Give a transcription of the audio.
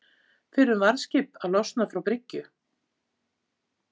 Fyrrum varðskip að losna frá bryggju